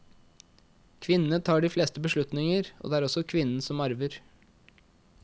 Kvinnene tar de fleste beslutninger, og det er også kvinnen som arver.